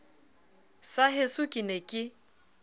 sa heso ke ne ke